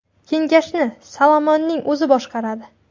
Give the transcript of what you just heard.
Kengashni Salmonning o‘zi boshqaradi.